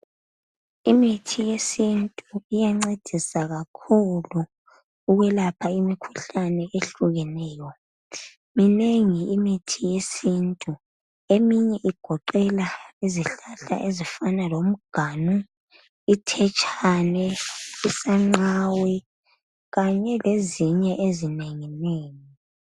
Imithi yesintu iyancedisa kakhulu ukwelapha imikhuhlane ehlukeneyo minengi imithi yesintu eminye igoqela izihlahla ezifana lomganu, ithetshane, isanqawe kanye lezinye ezinengi nengi.